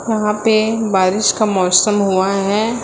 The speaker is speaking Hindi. यहां पे बारिश का मौसम हुआ है।